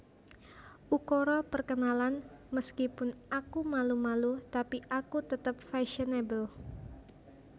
Ukara Perkenalan Meskipun aku malu malu tapi aku tetep fasionable